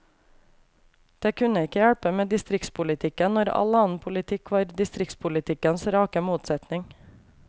Det kunne ikke hjelpe med distriktspolitikken, når all annen politikk var distriktspolitikkens rake motsetning.